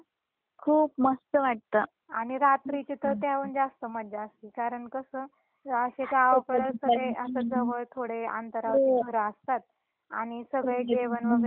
आणि रात्रीची तर त्याहून जास्त मज्जा असती कारण कस गावकड सगळे अस जवळ थोडे अंतरावर घर असतात आणि सगळे जेवण वैगरे लवकर करतात गावाकडे.